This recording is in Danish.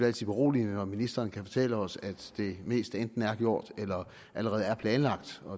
altid beroligende når ministeren kan fortælle os at det meste enten er gjort eller allerede er planlagt